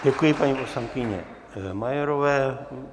Děkuji paní poslankyni Majerové.